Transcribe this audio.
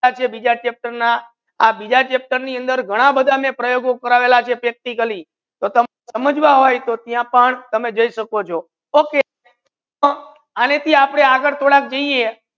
આજ છે બીજા chapter ના આ બીજ chapter ની અંદર ઘના વધા ને પર્યોગો કરાવેલા છે practically તમને સમજ મા હોય તો ત્યા પણ તમે જોઈ સકો છો okay આને થી આપડે આગડ થોડા જાઇયે